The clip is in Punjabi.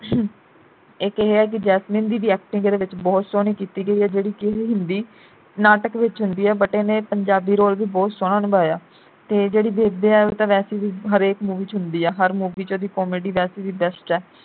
ਇਕ ਇਹ ਕਿ ਜੈਸਮੀਨ ਦੀ ਵੀ acting ਇਹਦੇ ਵਿਚ ਬਹੁਤ ਸੋਹਣੀ ਕੀਤੀ ਗਈ ਐ ਜਿਹੜੀ ਕਿ ਹਿੰਦੀ ਨਾਟਕ ਵਿਚ ਹੁੰਦੀ ਐ but ਇਹਨੇ ਪੰਜਾਬੀ role ਵੀ ਬਹੁਤ ਸੋਹਣਾ ਨਿਭਾਇਆ ਤੇ ਜਿਹੜੀ ਬੇਬੇ ਐ ਉਹ ਤਾਂ ਵੈਸੇ ਹਰੇਕ movie ਵਿਚ ਹੁੰਦੀ ਐ ਹਰ movie ਵਿਚ ਉਹਦੀ comedy ਵੈਸੇ ਵੀ best ਐ